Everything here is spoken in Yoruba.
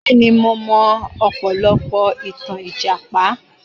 Bẹ́ẹ̀ni mo mọ ọ̀pọ̀lọpọ̀ ìtàn Ìjàpá